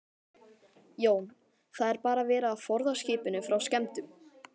Jón: Það er bara verið að forða skipinu frá skemmdum?